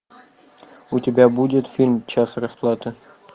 у тебя будет фильм час расплаты